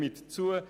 Stimmen Sie zu.